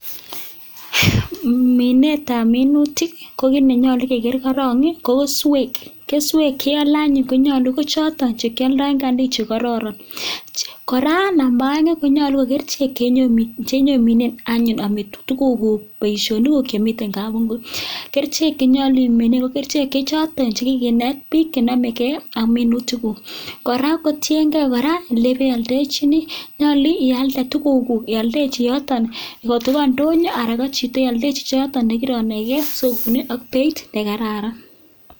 Minetab minutik kokii nenyalu kokeer korang ko keswek keswek cheiole anyun ko chotok chekeoldoi eng kantin che kororon kora namba aeng akere kole chekienyo minet anyun amete tuguk guk boisionik kuk chemite gaa kerchek chenyoljin minet ko kerchek che chotok chekikinet bik chenomekei ak minutik kuuk ko tiengei kora ole ibialdochini nyolu ialde tuguk kuk ialdechi yotok ngotko kobo ndonyo anan bo chito ne ialdochini chichotok nekiro naikei sikwoun ak beit ne kararan.